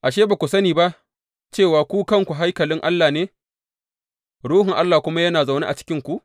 Ashe, ba ku sani ba cewa ku kanku haikalin Allah ne, Ruhun Allah kuma yana zaune a cikinku?